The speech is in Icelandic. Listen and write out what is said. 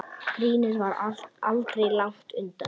Grínið var aldrei langt undan.